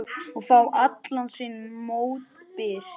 Og fá allan sinn mótbyr.